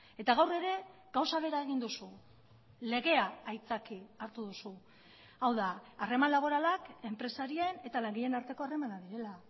eta gaur ere gauza bera egin duzu legea aitzaki hartu duzu hau da harreman laboralak enpresarien eta langileen arteko harremanak direla